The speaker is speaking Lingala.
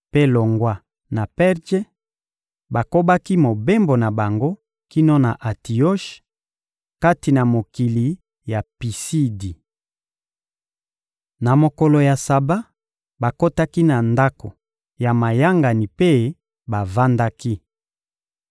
Mpe longwa na Perje, bakobaki mobembo na bango kino na Antioshe, kati na mokili ya Pisidi. Na mokolo ya Saba, bakotaki na ndako ya mayangani mpe bavandaki.